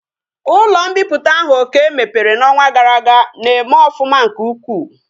Ulo mpiputa ahu okey mepere na onwa gara aga na eme ofuma nke ukwu